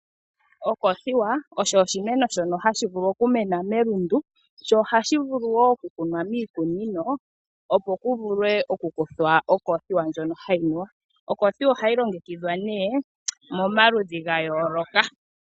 Okoothiwa osho oshimeno shono hashi vulu okumena melundu nohashi vulu wo okukunwa miikunino opo ku vulwe okukuthwa okoothiwa ndjono hayi nuwa no hayi longekidhwa momaludhi ga yooloka.